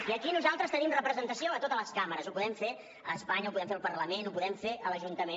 i aquí nosaltres tenim representació a totes les cambres ho podem fer a espanya ho podem fer al parlament ho podem fer a l’ajuntament